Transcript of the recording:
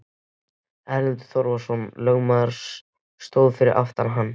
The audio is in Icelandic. Erlendur Þorvarðarson lögmaður stóð fyrir aftan hann.